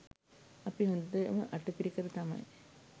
අපි හොඳම අට පිරිකර තමයි